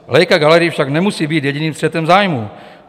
Leica Gallery však nemusí být jediným střetem zájmů.